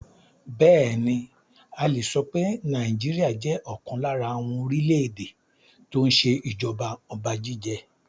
Bẹẹni, a le so pé Nigeria jẹ́ ọ̀kan lára àwọn orílè èdè tó ń ṣe ìjọba ọba jíjẹ.